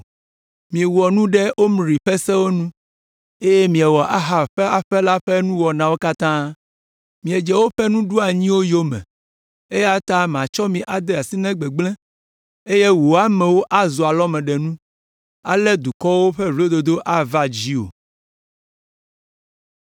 Miewɔ nu ɖe Omri ƒe sewo nu eye miewɔ Ahab ƒe aƒe la ƒe nuwɔnawo katã. Miedze woƒe nuɖoanyiwo yome eya ta matsɔ mi ade asi na gbegblẽ eye wò amewo azu alɔmeɖenu; ale dukɔwo ƒe vlododo ava dziwò.”